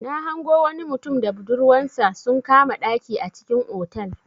Na hango wani mutum da budurwansa sun kama ɗaki a cikin otal.